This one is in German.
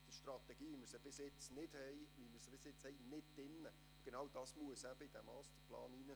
Es sind keine Einzelsprecherinnen oder Einzelsprecher mehr angemeldet.